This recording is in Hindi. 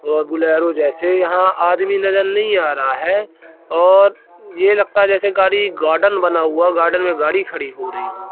और बुलेरो जैसे यहां आदमी नजर नहीं आ रहा है और ये लगता है जैसे कारी गार्डन बना हुआ है गार्डन में गाड़ी खड़ी हो रही हो।